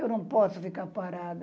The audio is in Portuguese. Eu não posso ficar parada.